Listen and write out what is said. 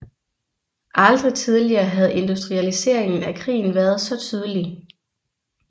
Aldrig tidligere havde industrialiseringen af krigen været så tydelig